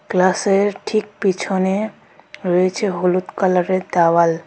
গ্লাসের ঠিক পিছনে রয়েছে হলুদ কালারের দাওয়াল .